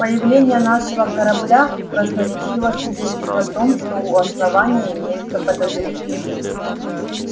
появление нашего корабля красноречиво свидетельствует о том что у основания имеются подозрения